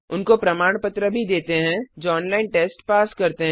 उनको प्रमाण पत्र भी देते हैं जो ऑनलाइन टेस्ट पास करते हैं